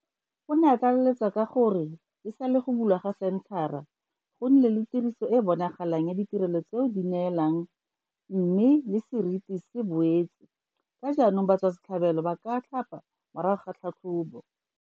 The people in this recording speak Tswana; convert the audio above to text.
O ne a tlaleletsa ka gore e sale go bulwa ga senthara, go nnile le tiriso e e bonalang ya ditirelo tseo ba di neelang mme le seriti se boetse ka jaanong batswasetlhabelo ba ka tlhapa morago ga tlhatlhobo.